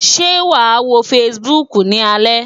Ṣé wàá wo Facebook ni alẹ́?